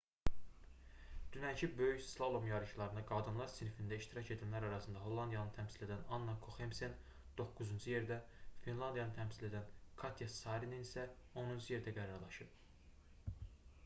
dünənki böyük slalom yarışlarında qadınlar sinfində iştirak edənlər arasında hollandiyanı təmsil edən anna koxemsen 9-cu yerdə finlandiyanı təmsil edən katya saarinen isə 10-cu yerdə qərarlaşıb